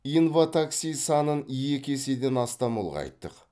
инватакси санын екі еседен астам ұлғайттық